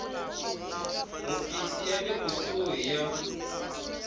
hofisi ya le kusuhi ya